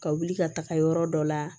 Ka wuli ka taga yɔrɔ dɔ la